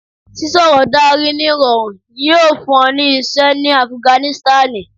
sísọrọ Dari ni irọrun yoo fun ọ ni iṣẹ ni Afiganisitani